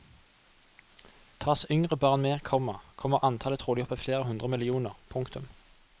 Tas yngre barn med, komma kommer antallet trolig opp i flere hundre millioner. punktum